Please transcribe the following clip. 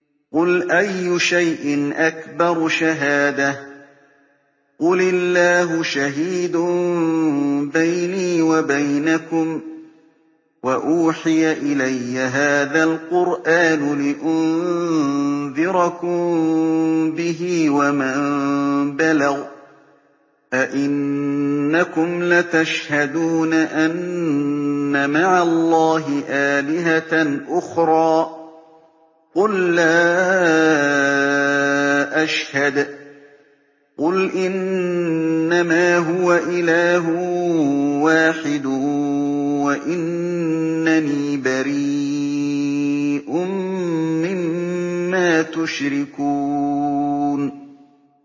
قُلْ أَيُّ شَيْءٍ أَكْبَرُ شَهَادَةً ۖ قُلِ اللَّهُ ۖ شَهِيدٌ بَيْنِي وَبَيْنَكُمْ ۚ وَأُوحِيَ إِلَيَّ هَٰذَا الْقُرْآنُ لِأُنذِرَكُم بِهِ وَمَن بَلَغَ ۚ أَئِنَّكُمْ لَتَشْهَدُونَ أَنَّ مَعَ اللَّهِ آلِهَةً أُخْرَىٰ ۚ قُل لَّا أَشْهَدُ ۚ قُلْ إِنَّمَا هُوَ إِلَٰهٌ وَاحِدٌ وَإِنَّنِي بَرِيءٌ مِّمَّا تُشْرِكُونَ